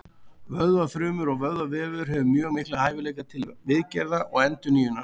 Vöðvafrumur og vöðvavefur hefur mjög mikla hæfileika til viðgerða og endurnýjunar.